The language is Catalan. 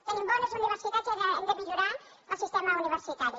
tenim bones universitats i ara hem de millorar el sistema universitari